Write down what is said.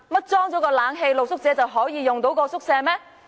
難道安裝冷氣後，露宿者便可以使用該宿舍嗎？